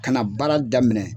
Ka na baara daminɛ